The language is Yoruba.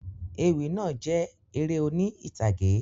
Ewì náà jẹ eré oni ìtàgé